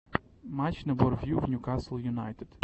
матч на бор вью в ньюкасл юнайтед